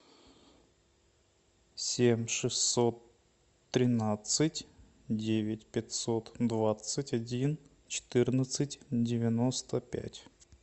семь шестьсот тринадцать девять пятьсот двадцать один четырнадцать девяносто пять